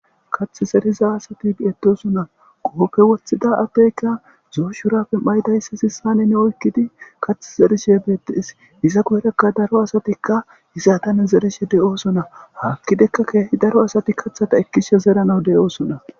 Kath zeriza asati biyetosonna qoopfe woththida ateyka zooshurappe maydayssa sissane ne oykkidi kath zerishe beettees iza guyrekka daro asatikka hiza tane zerishe de7oosonna haakkidekka keehi daro asati kathata ekkishe zeranaw de7oosonna.